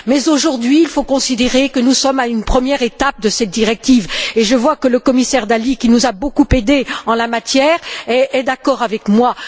Mais aujourd'hui, il faut considérer que nous sommes à une première étape de cette directive et je vois que le commissaire Dalli, qui nous a beaucoup aidés en la matière, est d'accord avec moi.